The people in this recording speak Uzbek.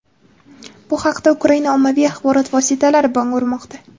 Bu haqda Ukraina ommaviy axborot vositalari bong urmoqda.